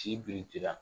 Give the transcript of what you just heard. Ci biriki la